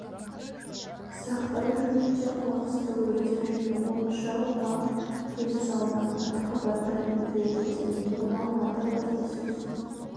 сақтау жөнінде қоқысты өртеу және от шағуға тыйым салынатыны туралы хабардар етіледі делінген алматы баспасөз